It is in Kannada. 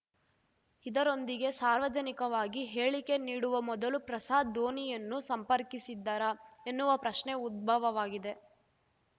ಇದರೊಂದಿಗೆ ಸಾರ್ವಜನಿಕವಾಗಿ ಹೇಳಿಕೆ ನೀಡುವ ಮೊದಲು ಪ್ರಸಾದ್‌ ಧೋನಿಯನ್ನು ಸಂಪರ್ಕಿಸಿದ್ದರಾ ಎನ್ನುವ ಪ್ರಶ್ನೆ ಉದ್ಭವವಾಗಿದೆ